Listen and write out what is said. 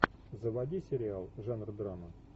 заводи сериал жанр драма